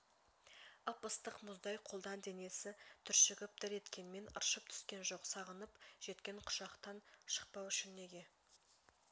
ып-ыстық мұздай қолдан денес түршігіп дір еткенмен ыршып түскен жоқ сағынып жеткен құшақтан шықпау үшін неге